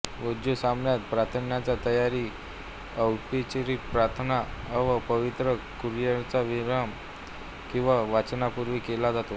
वुज़ू सामान्यतः प्रार्थनेच्या तयारीसाठी औपचारिक प्रार्थना आणि पवित्र कुरआनच्या विराम किंवा वाचनापूर्वी केला जातो